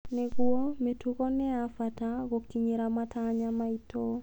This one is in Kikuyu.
Nĩguo, mĩtugi nĩ ya bata gũkinyĩra matanya maitũ.